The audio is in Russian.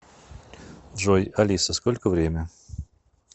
джой алиса сколько время